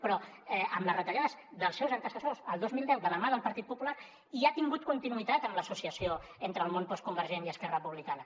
però amb les retallades dels seus antecessors el dos mil deu de la mà del partit popular i ha tingut continuïtat amb l’associació entre el món postconvergent i esquerra republicana